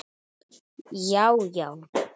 Já já!